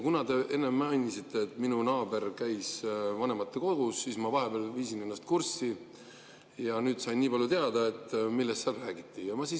Kuna te enne mainisite, et minu naaber käis vanematekogus, siis ma vahepeal viisin ennast kurssi ja sain teada, millest seal räägiti.